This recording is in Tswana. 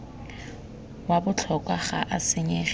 wa botlhokwa ga o senyege